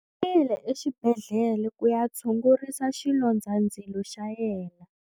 U yile exibedhlele ku ya tshungurisa xilondzandzilo xa yena.